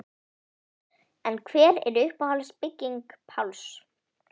En hver er uppáhalds bygging Páls?